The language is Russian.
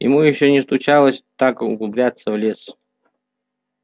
ему ещё не случалось так углубляться в лес